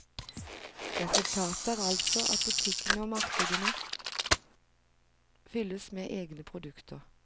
Resultatet er altså at butikkene og markedene fylles med egne produkter.